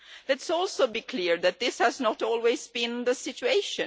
Let us also be clear that this has not always been the situation.